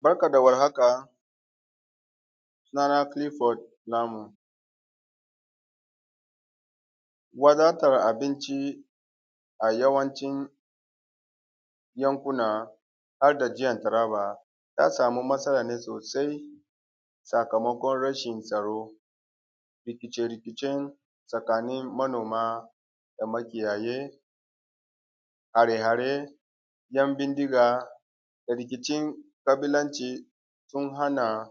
Barka da warhaka sunana Kilifod Namu wadatar abinci a yawancin yankuna harda jihar Taraba ya samu masala ne sosai har da rashin tsaro, rikice-rikicen tsakanin manoma da makiyaye, hare-hare ‘yan bindiga da rikicin ƙabilanci sun hana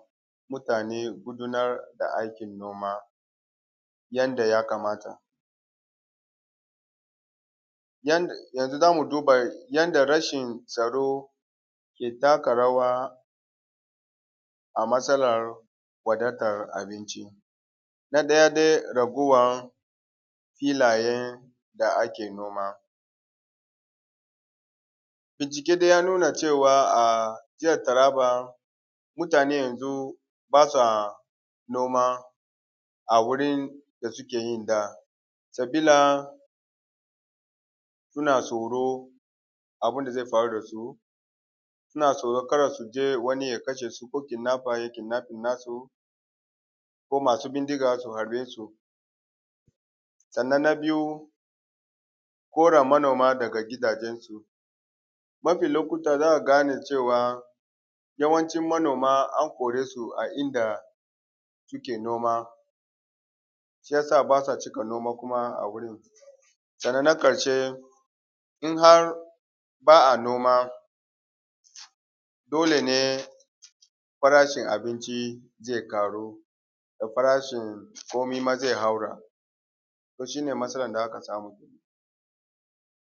manoma gudanar da aikkin noma yanda ya kamata. Yanzu za mu duba yanda rashin tsaro ke takarawa a matsalar wadatar abinci na ɗaya dai raguwar filayen da ake noma, a ciki dai ya nuna cewa a jihar Taraba mutane yanzu ba sa noma a wurin da suke yi da sabila suna tsoro abun da ze faru da su, suna tsoro ka da su je wani ya kasha su ko kidinafa ya yi kidnafin nasu ko masu bindiga su harbe su. Sannan na biyu koran manoma daga gidajensu mafi lokuta za ka gane cewa yawancin manoma an kore su a inda suke noma shi ya sa ba sa cika noma kuma wurin sannan na ƙarshe in har ba a noma dole ne farashin abinci ze ƙaru da farashin komi ma ze haura to shi ne masalan da aka samu.